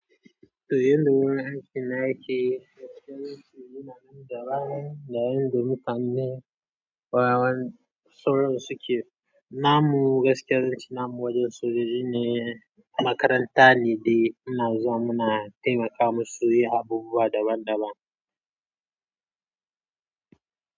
To yanayin da wurin aikina yake, suna nan da ran da yadda muka ne, warawaren tsoro suke. Namu gaskiyar cin namu wajen sojoji ne, makaranta ne dai muna zuwa muna taimaka musu su yi abubuwa daban daban.